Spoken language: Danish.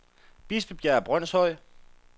Bispebjerg Brønshøj